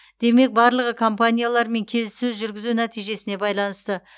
демек барлығы компаниялармен келіссөз жүргізу нәтижесіне байланысты